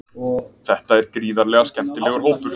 Þetta er gríðarlega skemmtilegur hópur.